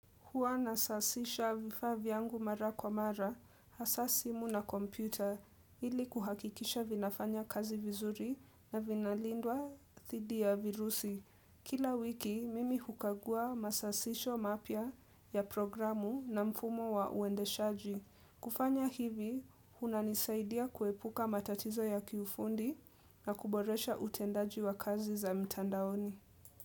Huwa nasasisha vifaa vyangu mara kwa mara, hasa simu na kompyuta, ili kuhakikisha vinafanya kazi vizuri na vinalindwa thidi ya virusi. Kila wiki, mimi hukagua masasisho mapya ya programu na mfumo wa uendeshaji. Kufanya hivi, hunanisaidia kuepuka matatizo ya kiufundi na kuboresha utendaji wa kazi za mtandaoni.